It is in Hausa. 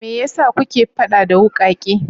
Me ya sa kuke faɗa da wukake?